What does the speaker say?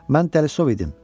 Mən dəlisov idim.